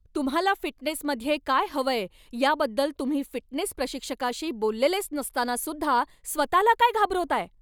तुम्हाला फिटनेसमध्ये काय हवंय याबद्दल तुम्ही फिटनेस प्रशिक्षकाशी बोललेलेच नसताना सुद्धा स्वतःला का घाबरवताय?